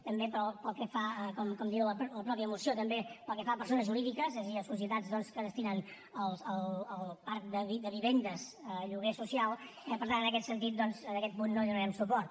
com diu la mateixa moció també pel que fa a persones jurídiques és a dir a societats que destinen el parc de vivendes a lloguer social eh per tant en aquest sentit en aquest punt no hi donarem suport